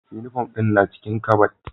Uniform ɗin na cikin kabad